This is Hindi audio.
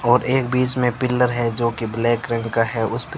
और एक बीच में पिलर है जो की ब्लैक रंग का है उस पे--